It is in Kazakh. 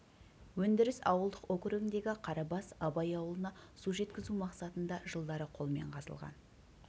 өндіріс ауылдық округіндегі қарабас абай ауылына су жеткізу мақсатында жылдары қолмен қазылған